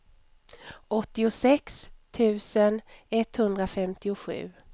åttiosex tusen etthundrafemtiosju